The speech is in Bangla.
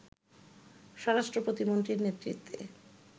স্বরাষ্ট্র প্রতিমন্ত্রীর নেতৃত্বে